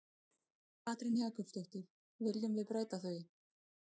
Katrín Jakobsdóttir: Viljum við breyta því?